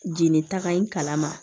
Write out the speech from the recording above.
Jeli taga in kalama